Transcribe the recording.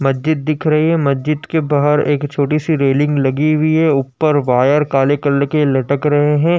मस्जिद दिख रही है। मस्जिद के बाहर एक छोटी सी रेलिंग लगी हुई है ऊपर वायर काले कलर के लटक रहे हैं।